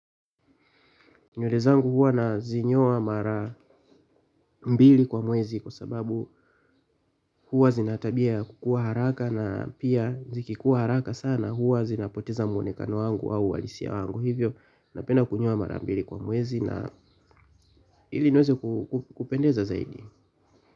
Nywele zangu huwa nazinyoa mara mbili kwa mwezi kwa sababu huwa zinatabia ya kukua haraka na pia zikikua haraka sana huwa zinapoteza mwonekano wangu au uhalisi wangu hivyo napenda kunyowa mara mbili kwa mwezi na hili nweze kupendeza zaidi.